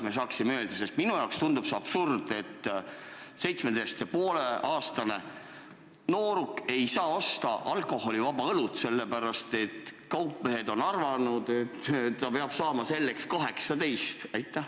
Minu jaoks tundub muuseas ka see absurd, et 17,5-aastane nooruk ei saa osta alkoholivaba õlut, sellepärast et kaupmehed on arvanud, et ta peab selleks saama 18.